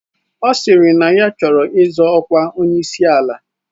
Ọ sịrị na ya chọrọ izọ ọkwa onyeisi ala.